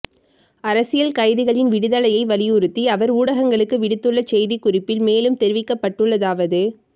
அரசியல் கைதிகளின் விடுதலையை வலியுறுத்தி அவர் ஊடகங்களுக்கு விடுத்துள்ள செய்திக்குறிப்பில் மேலும் தெரிவிக்கப்பட்டுள்ளதாவது